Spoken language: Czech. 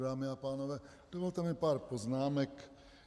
Dámy a pánové, dovolte mi pár poznámek.